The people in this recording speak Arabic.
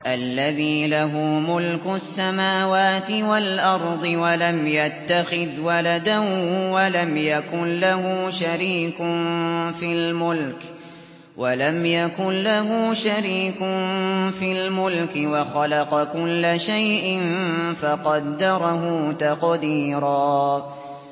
الَّذِي لَهُ مُلْكُ السَّمَاوَاتِ وَالْأَرْضِ وَلَمْ يَتَّخِذْ وَلَدًا وَلَمْ يَكُن لَّهُ شَرِيكٌ فِي الْمُلْكِ وَخَلَقَ كُلَّ شَيْءٍ فَقَدَّرَهُ تَقْدِيرًا